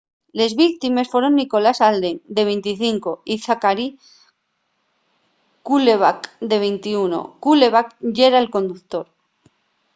les víctimes foron nicholas alden de 25 y zachary cuddleback de 21 cuddleback yera'l conductor